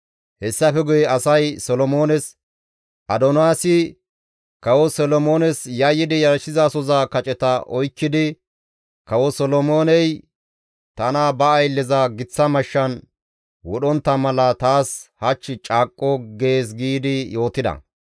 Hessafe guye asay Solomoones, «Adoniyaasi kawo Solomoones yayyidi yarshizasoza kaceta oykkidi, ‹Kawo Solomooney tana ba aylleza giththa mashshan wodhdhontta mala taas hach caaqqo› gees» giidi yootida.